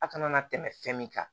A kana na tɛmɛ fɛn min kan